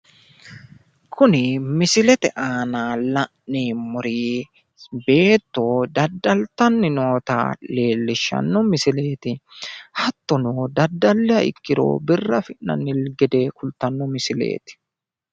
kuni misilete aana la'neemmori beetto dadaltanni noota leellishshanno misileeti hattono dadalliha ikkiro birra affi'nanni gede kultanno misileeti.